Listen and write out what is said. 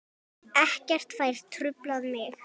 Ekkert fær truflað mig.